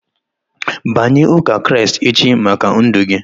Banye ụka Kraịst echi maka ndụ gị!